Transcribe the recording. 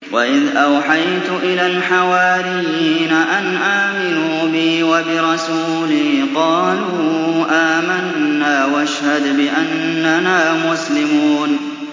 وَإِذْ أَوْحَيْتُ إِلَى الْحَوَارِيِّينَ أَنْ آمِنُوا بِي وَبِرَسُولِي قَالُوا آمَنَّا وَاشْهَدْ بِأَنَّنَا مُسْلِمُونَ